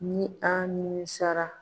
Ni an nimisara